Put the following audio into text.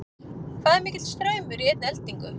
hvað er mikill straumur í einni eldingu